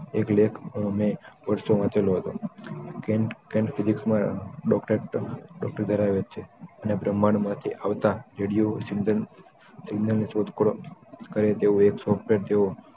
એક લેખક મે પરસો વાચેલો હતો કેન ફિલિપ્સ માં ડોક્ટર વેરાવત છે અને બ્રહ્માંડ માથી આવતા રેડિયસ સિમરો વિજ્ઞાન શોધખોળો કરે તેવું એક સોફ્ટવેર